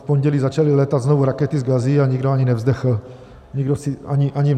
V pondělí začaly létat znovu rakety z Gazy, a nikdo ani nevzdechl.